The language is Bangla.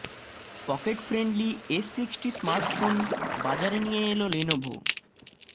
pocket friendly S sixty smart phone বাজারে নিয়ে এল লেনোভো